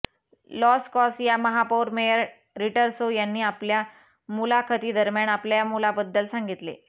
loss कॉस या महापौर मेयर रिटर्सो यांनी आपल्या मुलाखतीदरम्यान आपल्या मुलाबद्दल सांगितले